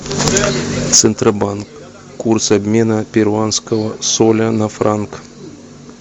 центробанк курс обмена перуанского соля на франк